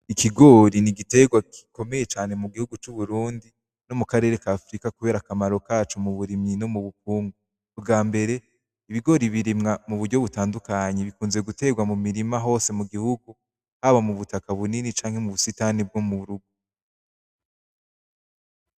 Ikigori nigitegwa cane gikomeye mu gihugu c'Uburundi, no mu karere ka Africa kubera akamaro kaco mu burimyi no mu bukungu. Bwa mbere ibigori birimwa mu buryo butandukanye bikunze gitegwa mu mirima hose mu gihugu haba mu butaka bunini canke mu busitani bg'umuntu.